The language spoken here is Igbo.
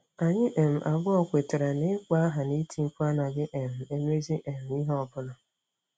Anyị um abụọ kwetara na ịkpọ aha na iti mkpu anaghị um emezi um ihe ọ bụla.